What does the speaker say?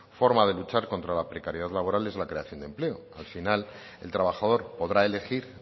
forma de luchar contra la precariedad laboral es la creación de empleo al final el trabajador podrá elegir